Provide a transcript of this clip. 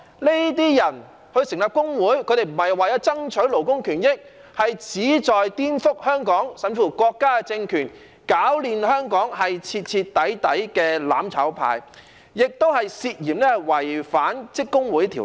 這些人成立工會，不是為了爭取勞工權益，而是旨在顛覆香港，甚至是國家的政權，攪亂香港，是徹底的"攬炒派"，也涉嫌違反《職工會條例》。